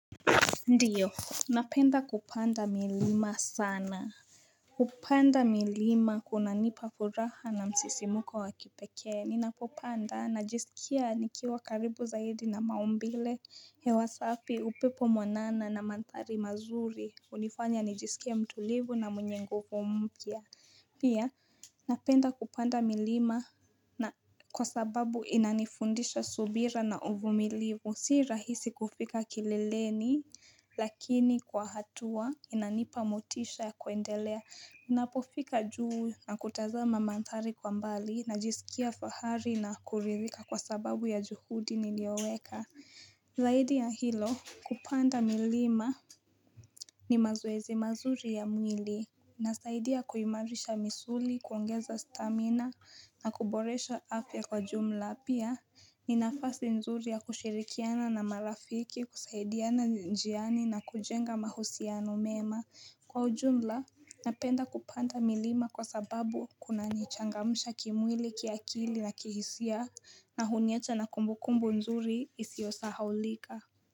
Ndiyo, napenda kupanda milima sana. Kupanda milima kunanipa furaha na msisimuko wa kipekee. Ninapopanda najisikia nikiwa karibu zaidi na maumbile. Hewa safi, upepo mwanana na mandhari mazuri. Hunifanya nijisikie mtulivu na mwenye nguvu mpya. Pia, napenda kupanda milima na kwa sababu inanifundisha subira na uvumilivu. Si rahisi kufika kileleni, lakini kwa hatua inanipa motisha ya kuendelea. Ninapofika juu na kutazama mandhari kwa mbali, najisikia fahari na kuridhika kwa sababu ya juhudi niliyoweka. Zaidi ya hilo kupanda milima ni mazoezi mazuri ya mwili. Inasaidia kuimarisha misuli, kuongeza stamina na kuboresha afya kwa jumla. Pia, ni nafasi nzuri ya kushirikiana na marafiki, kusaidiana njiani na kujenga mahusiano mema. Kwa ujumla, napenda kupanda milima kwa sababu kunanichangamsha kimwili, kiakili na kihisia na huniwacha na kumbu kumbu nzuri isiyo sahaulika.